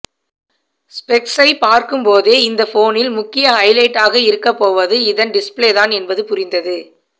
ஸ்பெக்ஸை பார்க்கும்போதே இந்த போனின் முக்கிய ஹைலைட்டாக இருக்கப்போவது இதன் டிஸ்ப்ளேதான் என்பது புரிந்தது